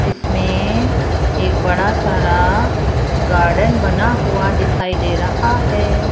इसमें एक बड़ा सारा गार्डन बना हुआ दिखाई दे रहा है।